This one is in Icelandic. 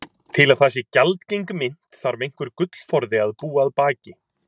Til að það sé gjaldgeng mynt þarf einhver gullforði að búa að baki.